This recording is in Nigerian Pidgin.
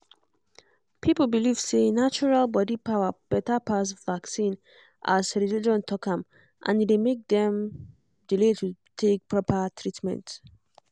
people believe say natural body power better pass vaccine as religion talk am and e dey make dem delay to take proper treatment